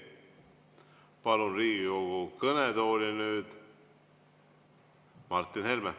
Palun Riigikogu kõnetooli nüüd Martin Helme.